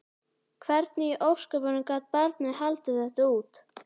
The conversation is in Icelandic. Hvernig í ósköpunum gat barnið haldið þetta út?